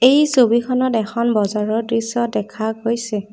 এই ছবিখনত এখন বজাৰৰ দৃশ্য দেখা গৈছে।